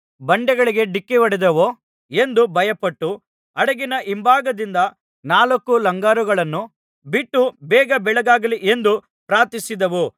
ಬಂಡೆಗಳಿಗೆ ಡಿಕ್ಕಿಹೊಡೆದೆವೋ ಎಂದು ಭಯಪಟ್ಟು ಹಡಗಿನ ಹಿಂಭಾಗದಿಂದ ನಾಲ್ಕು ಲಂಗರುಗಳನ್ನು ಬಿಟ್ಟು ಬೇಗ ಬೆಳಗಾಗಲಿ ಎಂದು ಪ್ರಾರ್ಥಿಸಿದೆವು